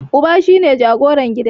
Uba shine jagoran gida.